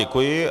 Děkuji.